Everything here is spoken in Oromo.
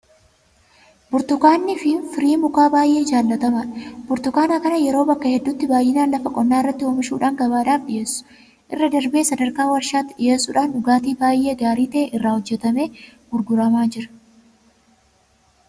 Burtukaanni firii mukaa baay'ee jaalatamaadha. Burtukaana kana yeroo ammaa bakka hedduutti baay'inaan lafa qonnaa irratti oomishuudhaan gabaadhaaf dhiyeessuu irra darbee sadarkaa warshaatti dhiyeessuudhaan dhugaatii baay'ee gaarii ta'e irraa hojjetamee gurguramaa jira.